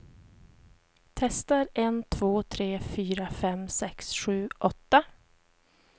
Testar en två tre fyra fem sex sju åtta.